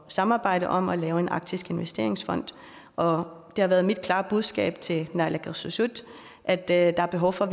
samarbejde om at lave en arktisk investeringsfond og det har været mit klare budskab til naalakkersuisut at der er behov for